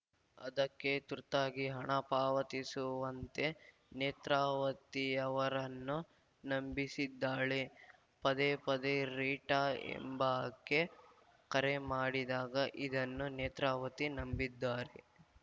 ಅದಕ್ಕೆ ತುರ್ತಾಗಿ ಹಣ ಪಾವತಿಸುವಂತೆ ನೇತ್ರಾವತಿಯವರನ್ನು ನಂಬಿಸಿದ್ದಾಳೆ ಪದೇಪದೇ ರೀಟಾ ಎಂಬಾಕೆ ಕರೆ ಮಾಡಿದಾಗ ಇದನ್ನು ನೇತ್ರಾವತಿ ನಂಬಿದ್ದಾರೆ